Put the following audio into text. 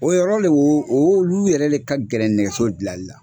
O yɔrɔ le o o olu yɛrɛ le ka gɛlɛ nɛgɛso dilanli la